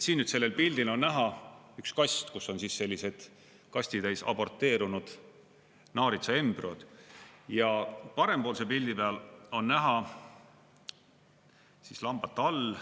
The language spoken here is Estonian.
Siin sellel pildil on näha üks kast, on kastitäis aborteerunud naaritsaembrüoid, ja parempoolse pildi peal on näha lambatall.